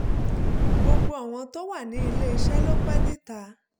gbogbo awon to wa nile ise lo pe nita